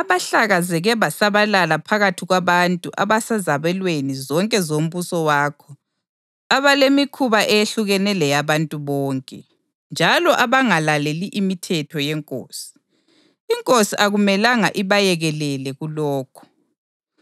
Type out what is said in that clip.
abahlakazeke basabalala phakathi kwabantu abasezabelweni zonke zombuso wakho abalemikhuba eyehlukene leyabantu bonke, njalo abangalaleli imithetho yenkosi. Inkosi akumelanga ibayekelele kulokho.